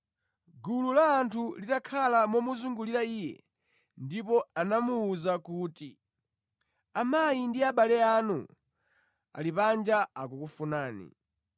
Gulu la anthu linakhala momuzungulira Iye, ndipo anamuwuza kuti, “Amayi ndi abale anu ali panja akukufunani.”